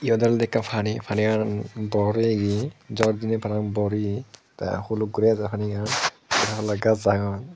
eyot olodey ekkan pani paniyan bor oyegi jor dinay para pang bor oye te huluk gori ajer panigan te aro gaj agon.